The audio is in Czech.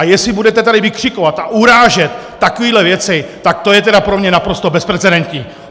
A jestli budete tady vykřikovat a urážet takové věci, tak to je tedy pro mě naprosto bezprecedentní!